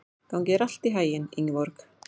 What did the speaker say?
Gangi þér allt í haginn, Ingeborg.